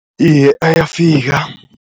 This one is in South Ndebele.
Iye, ayafika.